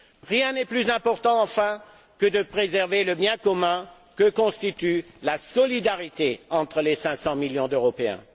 Rien n'est plus important, enfin, que de préserver le bien commun que constitue la solidarité entre les 500 millions d'Européens.